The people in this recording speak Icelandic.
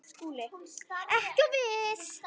SKÚLI: Ekki of viss!